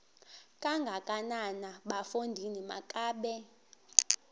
kangakanana bafondini makabe